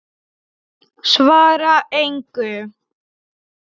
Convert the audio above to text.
Svara engu.